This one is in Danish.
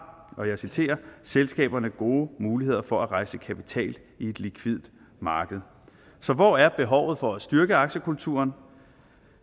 selskaberne gode muligheder for at rejse kapital i et likvidt marked så hvor er behovet for at styrke aktiekulturen